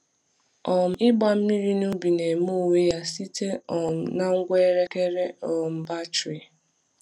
um Ịgba mmiri na ubi na-eme onwe ya site um na ngwa elekere um batrị.